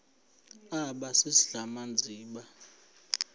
aba sisidl amazimba